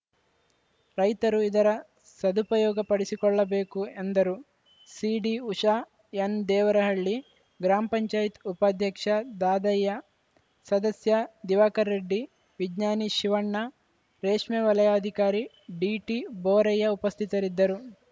ರೈತರು ಇದರ ಸದುಪಯೋಗಪಡಿಸಿಕೊಳ್ಳಬೇಕು ಎಂದರು ಸಿಡಿಉಷಾ ಎನ್‌ದೇವರಹಳ್ಳಿ ಗ್ರಾಮ ಪಂಚಾಯತ್ ಉಪಾಧ್ಯಕ್ಷ ದಾದಯ್ಯ ಸದಸ್ಯ ದಿವಾಕರ್‌ರೆಡ್ಡಿ ವಿಜ್ಷಾನಿ ಶಿವಣ್ಣ ರೇಷ್ಮೆ ವಲಯಾಧಿಕಾರಿ ಡಿಟಿಬೋರಯ್ಯ ಉಪಸ್ಥಿತರಿದ್ದರು